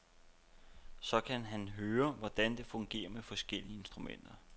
Så kan han høre, hvordan det fungerer med forskellige instrumenter.